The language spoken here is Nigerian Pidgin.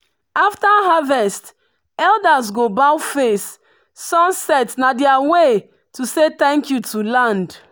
after harvest elders go bow face sunset na their way to say thank you to land.